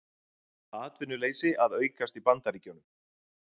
Atvinnuleysi að aukast í Bandaríkjunum